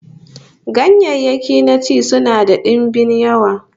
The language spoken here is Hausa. Ganyayyaki na ci sunan da dimbin yawa